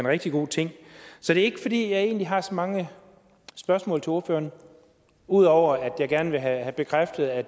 rigtig god ting så det er ikke fordi jeg egentlig har så mange spørgsmål til ordføreren udover at jeg gerne vil have bekræftet at